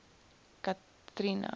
cathrina